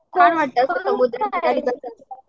वाटतं समुद्र